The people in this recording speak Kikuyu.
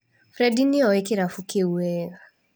Fredie nĩ oĩ kĩrabu kĩu wega.